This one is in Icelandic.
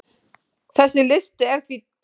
Þessi listi er því tæmandi.